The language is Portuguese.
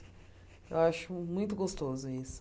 Eu acho muito gostoso isso.